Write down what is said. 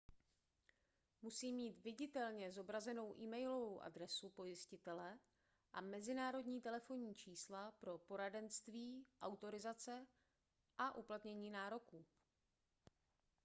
musí mít viditelně zobrazenou e-mailovou adresu pojistitele a mezinárodní telefonní čísla pro poradenství/autorizace a uplatnění nároků